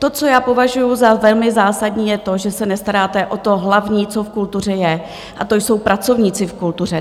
To, co já považuju za velmi zásadní, je to, že se nestaráte o to hlavní, co v kultuře je, a to jsou pracovníci v kultuře.